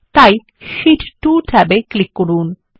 এখন শীট 2 ট্যাবে ক্লিক করুন